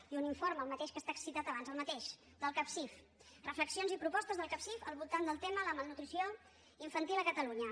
i un informe el mateix que he citat abans el mateix del capsif reflexions i propostes del capsif al voltant del tema de la malnutrició infantil a catalunya